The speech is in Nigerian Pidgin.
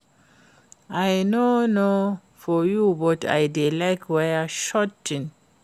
I no know for you but I dey like wear short things